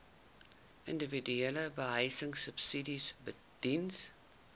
individuele behuisingsubsidies diens